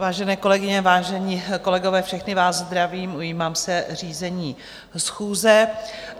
Vážené kolegyně, vážení kolegové, všechny vás zdravím, ujímám se řízení schůze.